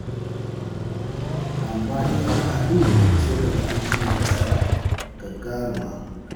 Amma in aka haɗu, sai ka ga an cimma nasara gagaruma.